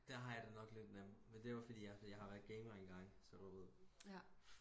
der har jeg det nok lidt nemt men det er nok fordi jeg har været gamer engang så du ved